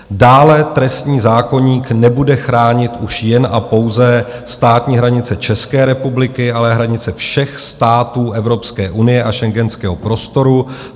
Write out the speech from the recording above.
Dále trestní zákoník nebude chránit už jen a pouze státní hranice České republiky, ale hranice všech států Evropské unie a schengenského prostoru.